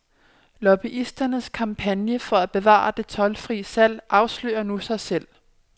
Lobbyisternes kampagne for at bevare det toldfrie salg afslører nu sig selv.